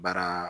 Baara